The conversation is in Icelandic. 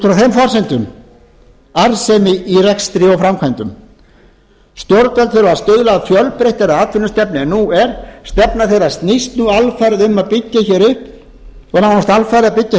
forsendum arðsemi í rekstri og framkvæmdum stjórnvöld þurfa að stuðla að fjölbreyttari atvinnustefnu en nú er stefna þeirra snýst nú nánast alfarið um að byggja hér upp